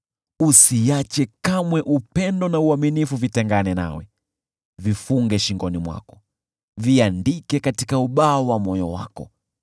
Usiache kamwe upendo na uaminifu vitengane nawe; vifunge shingoni mwako, viandike katika ubao wa moyo wako.